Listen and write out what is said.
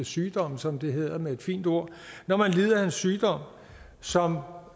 sygdomme som det hedder med et fint ord når man lider af en sygdom som